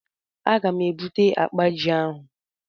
A ga m e bute akpa ji ahụ.